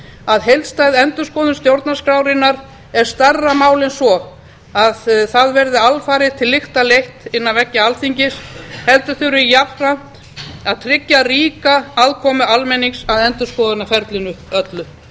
að heildstæð endurskoðun stjórnarskrárinnar er stærra mál en svo að það verði alfarið til lykta leitt innan veggja alþingis heldur þarf jafnframt að tryggja ríka aðkomu almennings að endurskoðunarferlinu öllu